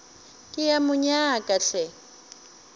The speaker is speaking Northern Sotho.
ke a mo nyaka hle